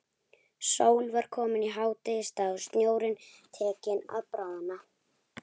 Sól var komin í hádegisstað og snjórinn tekinn að bráðna.